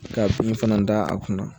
Ka fini fana da a kunna